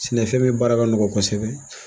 Sɛnɛfɛn min baara ka nɔgɔn kosɛbɛ